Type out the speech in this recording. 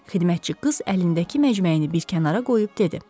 Xidmətçi qız əlindəki məcməyini bir kənara qoyub dedi: